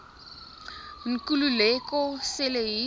nkululeko cele hier